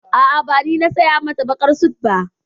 A'a, ba ni na saya mata baƙar sut ba.